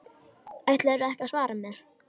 Ætlarðu ekki að svara mér?